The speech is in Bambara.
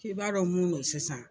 K'i b'a dɔn mun no sisan